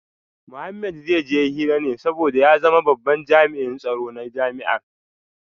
Mohammed zai je hira ne domin ya zama babban jami’in tsaro na jami’ar